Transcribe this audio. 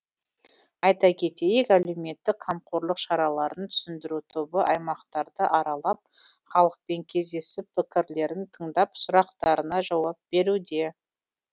айта кетейік әлеуметтік қамқорлық шараларын түсіндіру тобы аймақтарды аралап халықпен кездесіп пікірлерін тыңдап сұрақтарына жауап беруде